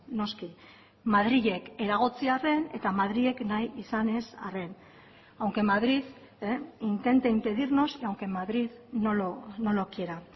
noski madrilek eragotzi arren eta madrilek nahi izanez arren aunque madrid intente impedirnos y aunque madrid no lo quiera